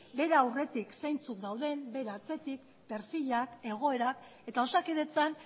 bere aurretik zeintzuk dauden bere atzetik perfilak egoera eta osakidetzan